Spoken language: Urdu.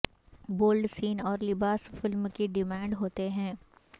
بولڈ سین اور لباس فلم کی ڈیمانڈ ہوتے ہیں